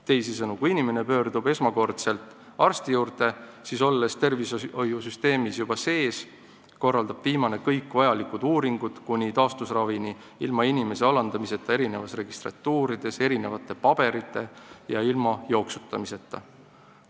Teisisõnu, pärast esmakordset arsti poole pöördumist on inimene tervishoiusüsteemis sees ning korraldatakse kõik vajalikud uuringud kuni taastusravini, ilma inimese alandamiseta mitmetes registratuurides, ilma erinevate paberite nõudmiseta ja inimese jooksutamiseta.